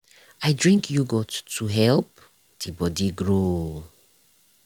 i drink yogurt to help the body grow.